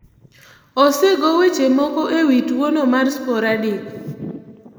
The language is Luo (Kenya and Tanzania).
Osego weche moko e wi tuwono mar Sporadic.